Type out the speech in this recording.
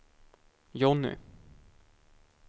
Johnny